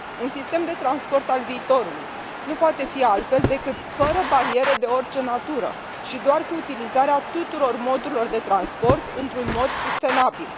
Un sistem de transport al viitorului nu poate fi altfel decât fără bariere de orice natură și cu utilizarea tuturor modurilor de transport într un mod sustenabil.